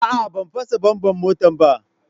A'a, ban fasa "bummer "motata ba.